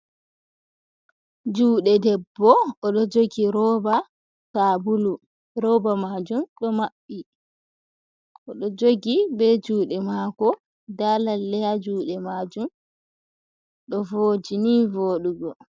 Juɗe ɗeɓɓo oɗo jogi roɓa saɓulu, roɓa majum ɗo maɓɓi oɗo jogi ɓe juɗe mako, ɗa lalleya ha juɗe majum ɗo voji ni voɗugo.